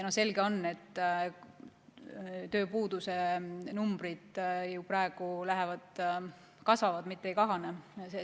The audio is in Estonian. Selge on see, et tööpuudus ju praegu kasvab, mitte ei kahane.